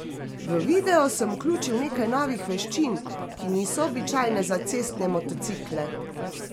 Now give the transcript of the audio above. V video sem vključil nekaj novih veščin, ki niso običajne za cestne motocikle.